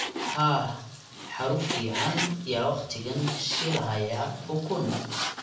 haah xaruf fican ya waqtigan shilhaya ukun